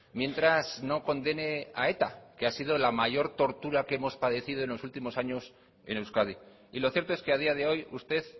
mientras no condene a eta que ha sido la mayor tortura que hemos padecido en los últimos años en euskadi y lo cierto es que a día de hoy usted